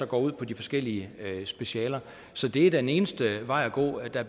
går ud på de forskellige specialer så det er den eneste vej at gå der